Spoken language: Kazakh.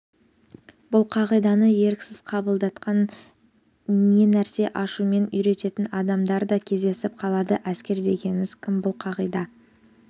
бұл қағиданы еріксіз қабылдатқан ненәрсе ашумен үйрететін адамдар да кездесіп қалады әскер дегеніміз кім бұл қағида